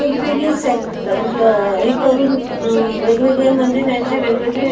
वेगवेगळी सेक अ हे करून अ वेगवेगळे म्हणजे त्यांचे वेगवेगळे --